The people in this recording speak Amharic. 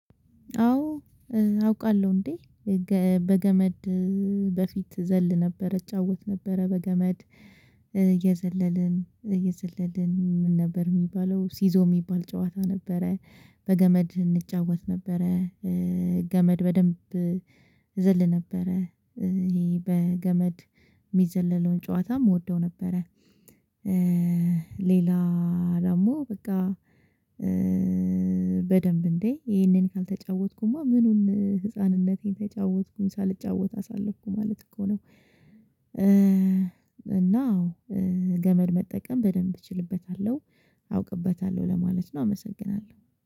አዎ። አውቃለሁ እንዴ? በገመድ በፊት ዘል ነበር እጫወት ነበረ በገመድ እየዘለልን እየዘለልን ምን ነበር የሚባለው ሲዞ የሚባል ጨዋታ። በገመድ እንጫወት ነበረ። ገመድ በደንብ እዘል ነበረ። ይሄ በገመድ የሚዘለለውን ጨዋታም እወደው ነበረ። ሌላ ደግሞ በቃ። በደንብ እንዴ ይሄንን ካልተጫወትኩማ ምኑን ህፃንነቴን ተጫወትኩኝ ሳልጫወት አሳለፍኩ ማለት እኮ ነው። እና ገመድ መጠቀም በደንብ እችልበታለሁ አውቅበታለሁ ለማለት ነው። አመሰግናለሁ